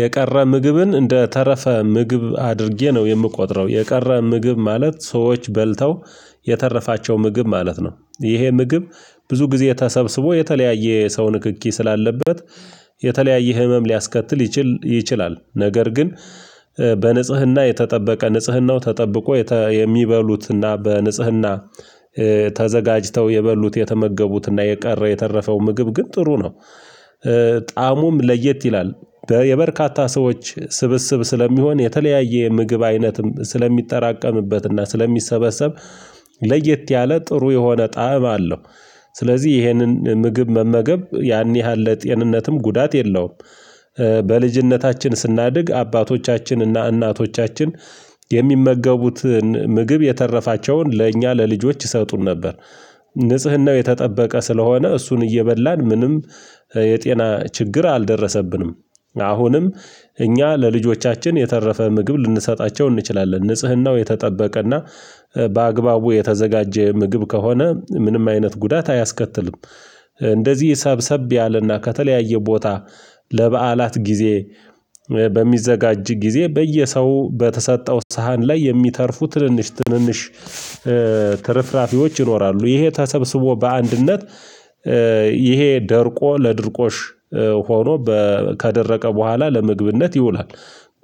የቀረ ምግብን እንደ ተረፈ ምግብ አድርጌ ነው የምቆጥረው። የቀረ ምግብ ማለት ሰዎች በልተው የተረፋቸው ምግብ ማለት ነው። ይሄ ምግብ ብዙ ጊዜ ተሰብስቦ የተለያየ ሰው ንክኪ ስላለበት የተለያየ ህመም ሊያስከትል ይችል ይችላል። ነገር ግን በንጽህና የተጠበቀ ንጽህናው ተጠብቆ የሚበሉትና በንጽህና ተዘጋጅተው የበሉት የተመገቡትና የቀረ የተረፈው ምግብ ግን ጥሩ ነው። ጣእሙም ለየት ይላል የበርካታ ሰዎች ስብስብ ስለሚሆን የተለያየ ምግብ አይነትም ስለሚጠራቀምበትና ስለሚሰበሰብ ለየት ያለ ጥሩ የሆነ ጣዕም አለው። ስለዚህ ይሄንን ምግብ መመገብ ያን ያህል ለጤንነትም ጉዳት የለውም። በልጅነታችን ስናድግ አባቶቻችን እና እናቶቻችን የሚመገቡትን ምግብ የተረፋቸውን ለእኛ ለልጆች ይሰጡን ነበር። ንጽህናው የተጠበቀ ስለሆነ እሱን እየበላን ምንም የጤና ችግር አልደረሰብንም። አሁንም እኛ ለልጆቻችን የተረፈ ምግብ ልንሰጣቸው እንችላለን ንጽህናው የተጠበቀና በአግባቡ የተዘጋጀ ምግብ ከሆነ ምንም አይነት ጉዳት አያስከትልም። እንደዚህ ሰብሰብ ያለና ከተለያየ ቦታ ለበዓላት ጊዜ በሚዘጋጅ ጊዜ በየሰው በተሰጠው ሳህን ላይ የሚተርፉ ትንንሽ ትንንሽ ትርፍራፊዎች ይኖራሉ ይሄ ተሰብስቦ በአንድነት ይሄ ደርቆ ለድርቆሽ ሆኖ ከደረቀ በኋላ ለምግብነት ይውላል።